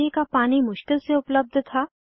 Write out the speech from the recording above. पीने का पानी मुश्किल से उपलब्ध था